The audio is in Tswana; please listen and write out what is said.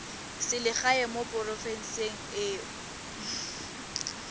selegae mo porofenseng e o